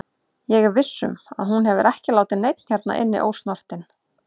Ég er viss um að hún hefur ekki látið neinn hérna inni ósnortinn.